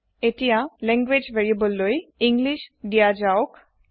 এতিয়া language variable লৈ English দিয়া জাওক